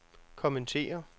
kommentere